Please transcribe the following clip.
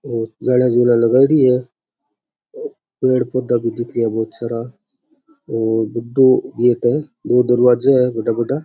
और जालियां जूलिया लगायोडी है पेड़ पौधा भी दिखे है बहुत सारा और बढ़ो गेट है दो दरवाजा है बड़ा बड़ा।